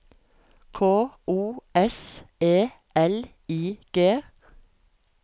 K O S E L I G